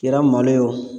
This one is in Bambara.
Kɛra malo ye wo